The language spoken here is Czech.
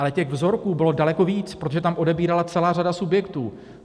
Ale těch vzorků bylo daleko víc, protože tam odebírala celá řada subjektů.